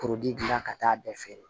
gila ka taa a bɛɛ feere